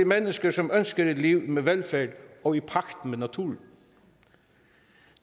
mennesker som ønsker et liv med velfærd og i pagt med naturen